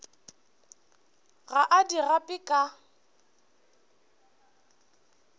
ga a di gape ka